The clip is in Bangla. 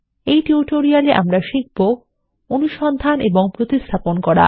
এই টিউটোরিয়ালএ আমরাশিখব160 অনুসন্ধান এবং প্রতিস্থাপন করা